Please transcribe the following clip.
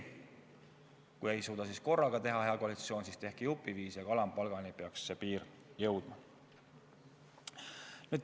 Kui ei suuda seda korraga teha, hea koalitsioon, siis tehke jupiviisi, aga alampalgani peaks see piir jõudma.